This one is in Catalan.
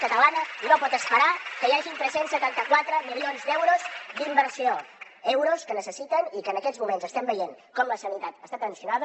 talana no pot esperar que hi hagin tres cents i setanta quatre milions d’euros d’inversió euros que necessiten i que en aquests moments estem veient com la sanitat està tensionada